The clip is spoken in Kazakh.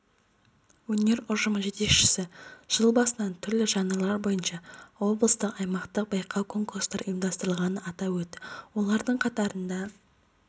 өнер ұжымы жетекшісі жыл басынан түрлі жанрлар бойынша облыстық аймақтық байқау-конкурстар ұйымдастырылғанын атап өтті олардың қатарында